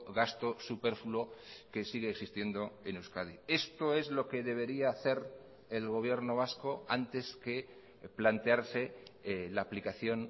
gasto superfluo que sigue existiendo en euskadi esto es lo que debería hacer el gobierno vasco antes que plantearse la aplicación